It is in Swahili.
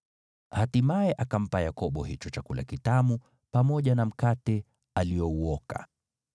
Hatimaye akampa Yakobo hicho chakula kitamu pamoja na mkate aliouoka.